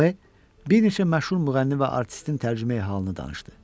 B bir neçə məşhur müğənni və artistin tərcümeyi halını danışdı.